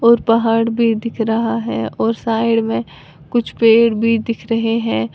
और पहाड़ भी दिख रहा है और साइड में कुछ पेड़ भी दिख रहे हैं।